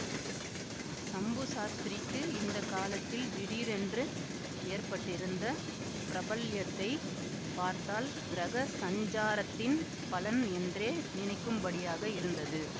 சம்பு சாஸ்திரிக்கு இந்த காலத்தில் திடீரென்று ஏற்பட்டிருந்த பிரபல்யத்தைப் பார்த்தால் கிரக சஞ்சாரத்தின் பலன் என்றே நினைக்கும்படியாக இருந்தது